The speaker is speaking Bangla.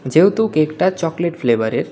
যেহেতু কেকটা চকলেট ফ্লেভারের.